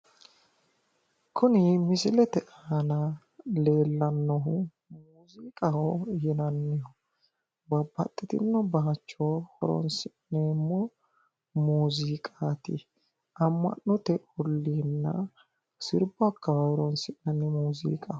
Kuni misilete aana leellannohu muuziiqaho yinanni babbaxxitinno bayicho horoonsi'neemmo muuziiqaati. Amma'note olliinna sirbu akkawaawe horoonsi'nanni muuziiqaho.